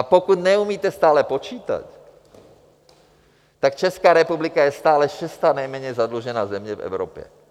A pokud neumíte stále počítat, tak Česká republika je stále šestá nejméně zadlužená země v Evropě.